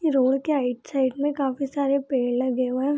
Road के right side में काफी सारे पेड़ लगे हुए हैं।